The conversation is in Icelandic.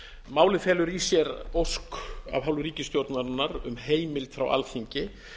málið felur í sér ósk af hálfu ríkisstjórnarinnar um heimild frá alþingi